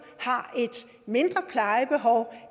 har et mindre plejebehov